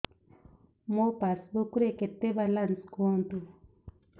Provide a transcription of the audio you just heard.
ମୋ ପାସବୁକ୍ ରେ କେତେ ବାଲାନ୍ସ କୁହନ୍ତୁ